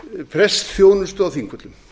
prestsþjónustu á þingvöllum